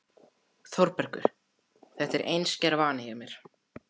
ÞÓRBERGUR: Þetta er einskær vani hjá mér.